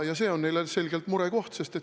See on neile selgelt murekoht.